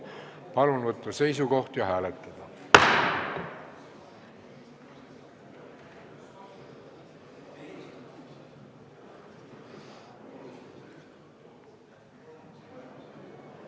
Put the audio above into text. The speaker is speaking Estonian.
Palun võtta seisukoht ja hääletada!